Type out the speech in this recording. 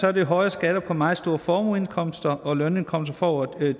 er det høje skatter på meget store formueindkomster og lønindkomster for over